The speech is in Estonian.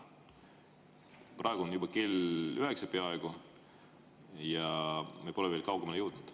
Praegu on kell juba peaaegu üheksa ja me pole veel kaugemale jõudnud.